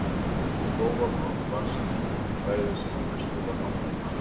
Og þó var hún oft lasin af ströngu fæði sem að mestu var hanginn matur.